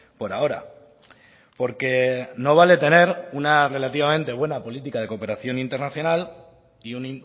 por ahora porque no vale tener una relativamente buena política de cooperación internacional y un